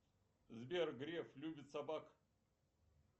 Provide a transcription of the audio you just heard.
сбер греф любит собак